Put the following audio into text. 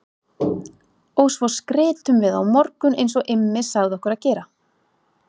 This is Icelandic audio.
Og svo skrytum við á morgun eins og Immi sagði okkur að gera